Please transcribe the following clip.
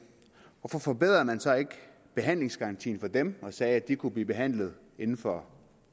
hvorfor forbedrede man så ikke behandlingsgarantien for dem og sagde at de kunne blive behandlet inden for